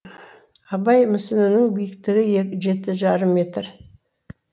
абай мүсінінің биіктігі жеті жарым метр